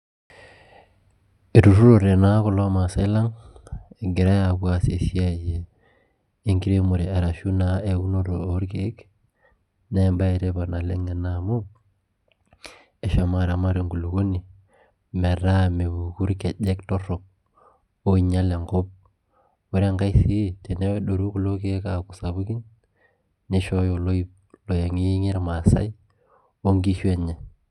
eitururtoe naa kulo maasae lang egira, aapuo aas esiai enkiremore eashu esiai eunore orkeek. naa ebae etipat ena oleng amu, eshomo aramat enkulupuoni, metaa mepuku irkejek torok. oinyial enkop, ore enkae tirii teneedoru kulo keek aaku sapukin nishhoyo oloip oyengiyengie irmaasae onkishu enye.